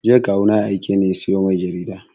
Jiya Kawu na ya aike ni sayo mai jarida